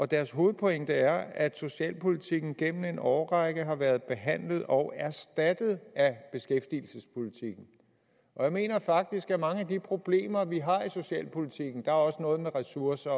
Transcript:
deres hovedpointe er at socialpolitikken gennem en årrække har været behandlet og erstattet af beskæftigelsespolitikken jeg mener faktisk at mange af de problemer vi har i socialpolitikken der er også noget med ressourcer